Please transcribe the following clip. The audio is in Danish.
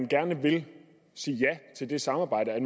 gerne vil sige ja til det samarbejde at